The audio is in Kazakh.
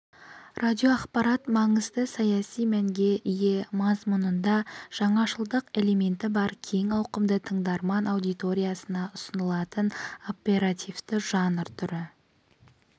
радиоақпарат маңызды саяси мәнге ие мазмұнында жаңашылдық элементі бар кең ауқымды тыңдарман аудиториясына ұсынылатын оперативті жанр түрі